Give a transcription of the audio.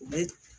U bɛ